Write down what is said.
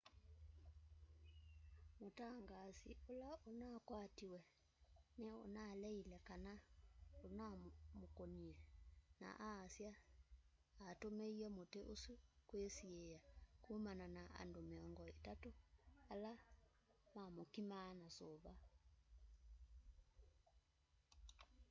mũtangaasi ũla unakwatiwe ni unaleite kana unamkũnie na aasya atũmie mũti ũsũ kwisiia kũmana na andũ miongo itatũ ala mamkimaa na suva